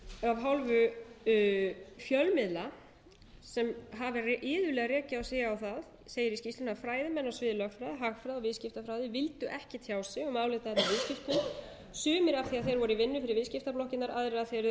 af hálfu fjölmiðla sem hafa iðulega rekið sig á það segir í skýrslunni að fræðimenn á sviði lögfræði hagfræði og viðskiptafræði vildu ekki tjá sig um álit í viðskiptum sumir af því að þeir voru í vinnu fyrir viðskiptablokkirnar aðrir af því að þeir